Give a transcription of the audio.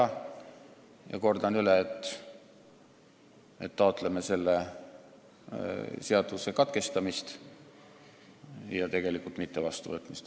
Nii et ma kordan: me taotleme selle seaduseelnõu teise lugemise katkestamist ja tegelikult mitte vastuvõtmist.